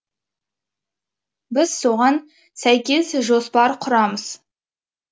біз соған сәйкес жоспар құрамыз